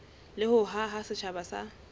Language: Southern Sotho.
le ho haha setjhaba sa